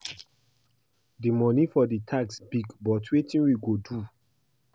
The money for the tax big but wetin we go do?